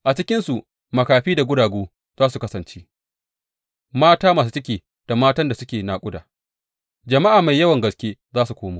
A cikinsu makafi da guragu za su kasance, mata masu ciki da matan da suke naƙuda; jama’a mai yawan gaske za su komo.